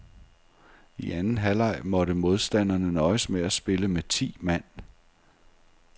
I anden halvleg måtte modstanderne nøjes med at spille med ti mand.